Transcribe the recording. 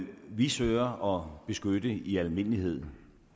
vi søger at beskytte i almindelighed